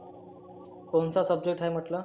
कोणचा subject आहे म्हटला?